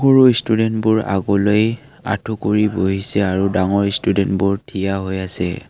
সৰু ষ্টুডেণ্টবোৰ আগলৈ আঁঠু কৰি বহিছে আৰু ডাঙৰ ষ্টুডেণ্টবোৰ থিয় হৈ আছে।